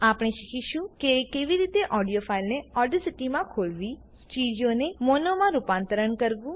આપણે શીખીશું કે કેવી રીતે ઓડિયો ફાઈલને ઓડેસીટીમાં ખોલવી સ્ટીરીઓને મોનોમાં રૂપાંતરણ કરવું